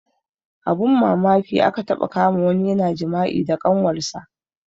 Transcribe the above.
Abun mamaki aka taɓa kama wani yana jima'i da kanwar sa